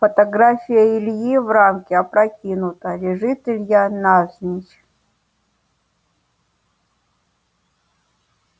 фотография ильи в рамке опрокинута лежит илья навзничь